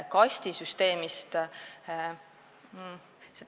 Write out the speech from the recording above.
Kastisüsteemist.